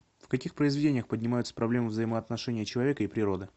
в каких произведениях поднимаются проблемы взаимоотношения человека и природы